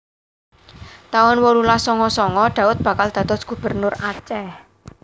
taun wolulas sanga sanga Daud bakal dados Gubernur Aceh